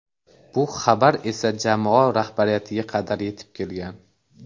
Bu xabar esa jamoa rahbariyatiga qadar yetib kelgan.